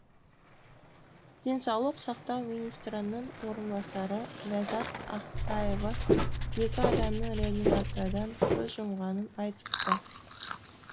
денсаулық сақтау министрінің орынбасары ләззат ақтаева екі адамның реанимациядан көз жұмғанын айтыпты